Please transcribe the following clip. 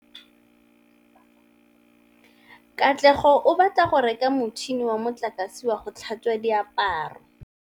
Katlego o batla go reka motšhine wa motlakase wa go tlhatswa diaparo.